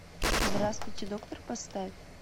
здравствуйте доктор поставь